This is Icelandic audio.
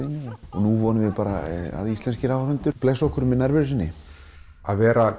og nú vonum við að íslenskir áhorfendur blessi okkur með nærveru sinni að vera